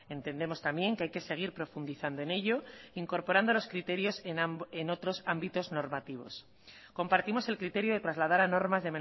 entendemos también que hay que seguir profundizando en ello incorporando los criterios en otros ámbitos normativos compartimos el criterio de trasladar a normas